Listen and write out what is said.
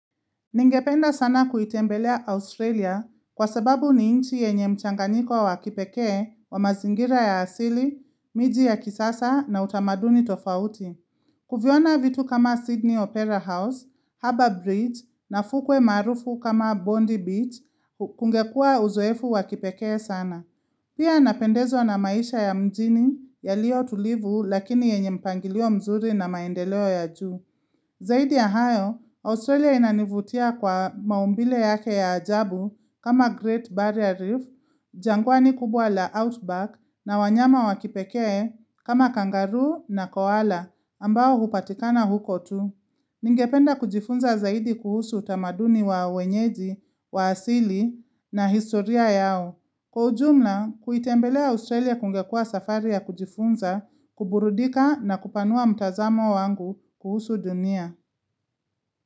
Ningependa sana kuitembelea Australia kwa sababu ni inchi yenye mchanganiko wa kipekee wa mazingira ya asili, miji ya kisasa na utamaduni tofauti. Kuviona vitu kama Sydney Opera House, Harbour Bridge na fukwe maarufu kama Bondi Beach kungekuwa uzoefu wakipekee sana. Pia napendezwa na maisha ya mjini yalio tulivu lakini yenye mpangilio mzuri na maendeleo ya juu. Zaidi ya hayo, Australia inanivutia kwa maumbile yake ya ajabu kama Great Barrier Reef, jangwani kubwa la Outback na wanyama wa kipekee kama kangaroo na koala ambao hupatikana huko tu. Ningependa kujifunza zaidi kuhusu utamaduni wa wenyeji, wa asili na historia yao. Kwa ujumla, kuitembelea Australia kungekuwa safari ya kujifunza, kuburudika na kupanua mtazamo wangu kuhusu dunia.